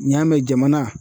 N'i y'a mɛn jamana